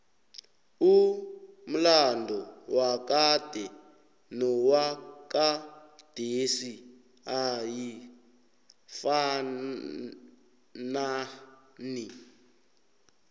umlado wakade nowagadesi ayifanai